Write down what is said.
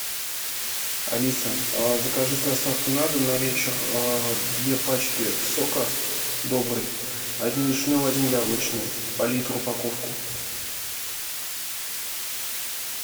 алиса закажи с доставкой на дом на вечер две пачки сока добрый один вишневый один яблочный по литру упаковку